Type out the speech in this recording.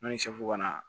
N'o ye ka na